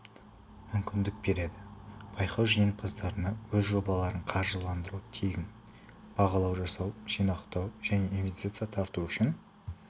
мүмкіндік береді байқау жеңімпаздарына өз жобаларын қаржыландыру тегін бағалау жасау жинақтау және инвестиция тарту үшін